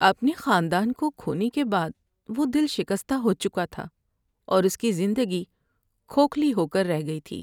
اپنے خاندان کو کھونے کے بعد وہ دل شکستہ ہو چکا تھا اور اس کی زندگی کھوکھلی ہو کر رہ گئی تھی۔